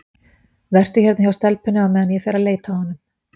Vertu hérna hjá stelpunni á meðan ég fer að leita að honum.